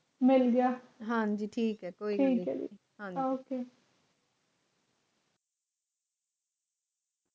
ਹਾਂ ਜੀ ਠੀਕ ਐ ਕੋਈ ਗੱਲ ਨਹੀਂ ਉੱਕਾ